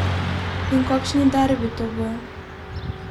In kakšen derbi to bo!